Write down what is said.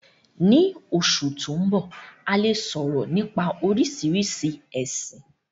Ní Osù to n bọ, a le soro nipa Oríṣiríṣi ẹ̀sin.